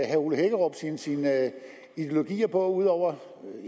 herre ole hækkerup sin sin ideologi på ud over